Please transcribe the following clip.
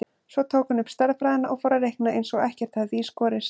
Svo tók hún upp stærðfræðina og fór að reikna eins og ekkert hefði í skorist.